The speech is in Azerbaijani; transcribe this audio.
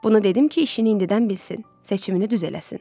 Bunu dedim ki, işini indidən bilsin, seçimini düz eləsin.